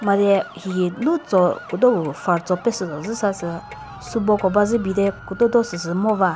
madeh hihi lutso küdou far so pesüh toh züsa sü süboko bazübi bade kudo do sü sü ngoba.